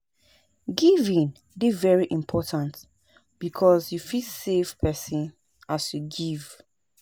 Giving de very important because you fit save persin as you give